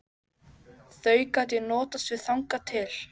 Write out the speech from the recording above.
Þau gat ég notast við þangað til.